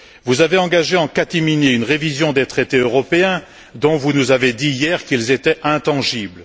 Vous avez engagé en catimini une révision des traités européens, dont vous nous avez dit hier qu'ils étaient intangibles.